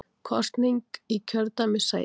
Kosning í kjördæmissæti